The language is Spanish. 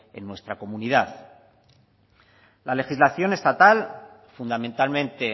en nuestra comunidad la legislación estatal fundamentalmente